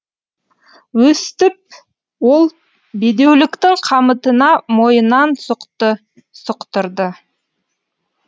өстіп ол бедеуліктің қамытына мойынын сұқты сұқтырды